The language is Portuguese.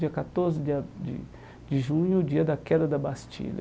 Dia catorze de a de de junho, dia da queda da Bastilha.